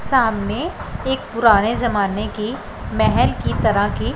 सामने एक पुराने जमाने की महल की तरह की--